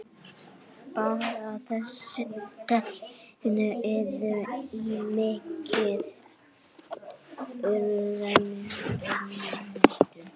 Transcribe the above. Báðar þessar tegundir eru í mikilli útrýmingarhættu.